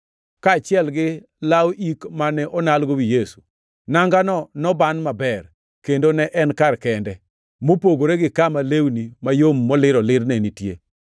kaachiel gi law ik mane onalgo wi Yesu. Nangano noban maber, kendo ne en kar kende, mopogore gi kama lewni mayom molir olir ne nitie.